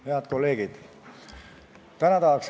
Head kolleegid!